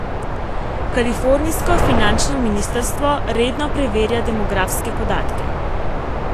Kalifornijsko finančno ministrstvo redno preverja demografske podatke.